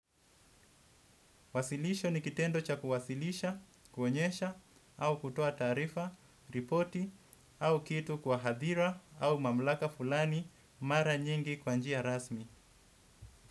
Wasilisho ni kitendo cha kuwasilisha, kuonyesha, au kutoa taarifa, ripoti, au kitu kwa hadhira, au mamlaka fulani, mara nyingi kwa njia rasmi.